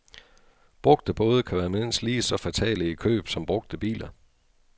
Brugte både kan være mindst lige så fatale i køb som brugte biler.